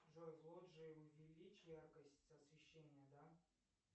джой в лоджии увеличь яркость освещения да